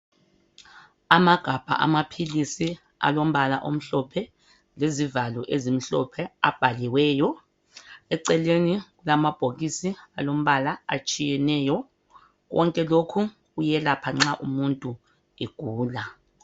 Amagabha amaphilisi alombala omhlophe lezivalo ezimhlophe abhaliweyo. Eceleni kulamabhokisi alombala atshiyeneyo. Konke lokhu kuyelapha nxa umuntu egula.